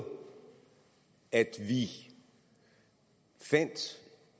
at vi fandt